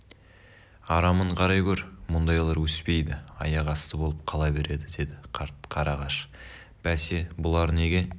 арамын қарай гөр мұндайлар өспейді аяқ асты болып қала береді деді қарт қарағаш бәсе бұлар неге